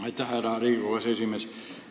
Aitäh, härra Riigikogu aseesimees!